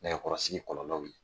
Nɛgɛkɔrɔsigi kɔlɔlɔw ye.